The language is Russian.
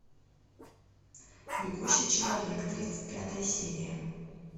бегущий человек тридцать пятая серия